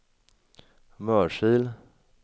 Mörsil